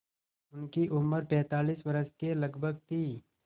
उनकी उम्र पैंतालीस वर्ष के लगभग थी